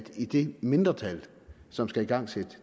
det mindretal som skal igangsætte